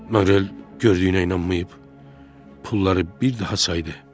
Maqrel gördüyünə inanmayıb, pulları bir daha saydı.